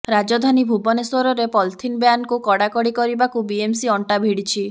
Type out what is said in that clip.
ରାଜଧାନୀ ଭୁବନେଶ୍ୱରରେ ପଲିଥିନ ବ୍ୟାନ୍କୁ କଡ଼ାକଡ଼ି କରିବାକୁ ବିଏମ୍ସି ଅଣ୍ଟା ଭିଡିଛି